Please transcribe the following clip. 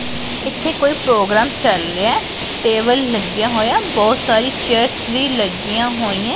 ਇੱਥੇ ਕੋਈ ਪ੍ਰੋਗਰਾਮ ਚਲ ਰਿਹਾ ਟੇਬਲ ਲੱਗਿਆ ਹੋਇਆ ਬਹੁਤ ਸਾਰੀ ਚੇਅਰਸ ਵੀ ਲੱਗੀਆਂ ਹੋਈਆਂ।